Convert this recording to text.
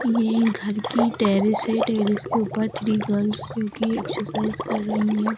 ये घर की टैरिस है टैरिस के ऊपर थ्री गल्स जो कि एक्सरसाइज कर रही हैं।